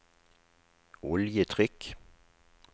oljetrykk